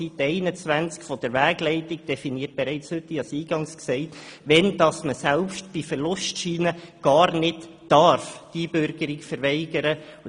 Auf Seite 21 der Wegleitung wird aufgeführt, in welchen Fällen man die Einbürgerung – selbst bei Vorliegen von Verlustscheinen – bereits heute gar nicht verweigern darf.